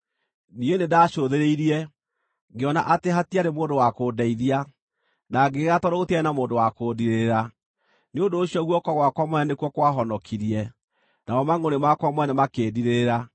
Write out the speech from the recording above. Niĩ nĩndacũthĩrĩirie, ngĩona atĩ hatiarĩ mũndũ wa kũndeithia, na ngĩgega tondũ gũtiarĩ na mũndũ wa kũndiirĩrĩra; nĩ ũndũ ũcio guoko gwakwa mwene nĩkuo kwahonokirie, namo mangʼũrĩ makwa mwene makĩndiirĩrĩra.